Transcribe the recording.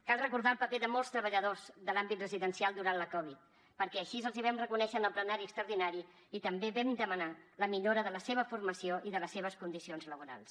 cal recordar el paper de molts treballadors de l’àmbit residencial durant la covid perquè així els hi vam reconèixer en el plenari extraordinari i també vam demanar la millora de la seva formació i de les seves condicions laborals